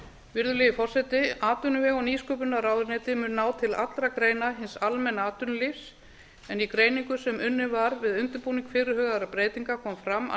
virðulegi forseti atvinnuvega og nýsköpunarráðuneyti mun ná til allra greina hins almenna atvinnulífs en í greiningu sem unnin var við undirbúning fyrirhugaðra breytinga kom fram að